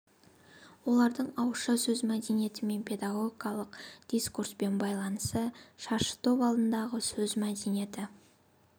олардың ауызша сөз мәдениеті мен педагогикалық дискурспен байланысы шаршытоп алдындағы сөз мәдениеті